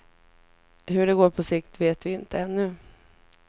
Hur det går på sikt vet vi inte ännu.